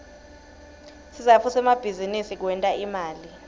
sizatfu semabizinisi kwenta imali